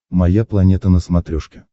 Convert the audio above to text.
моя планета на смотрешке